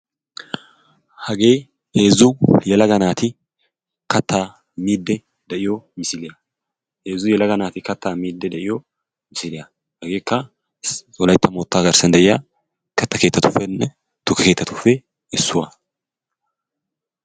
Hagee heezzu yelaga naati kattaa miiddi de'iyo misiliya. Hegeekka wolaytta moottaa giddon de'iya katta keettatuppenne tukke keettatuppe issuwaa.